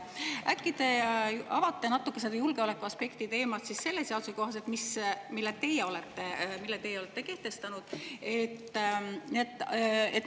Äkki te avate natuke seda julgeolekuaspekti teemat selle seaduse kohaselt, mille teie olete kehtestanud?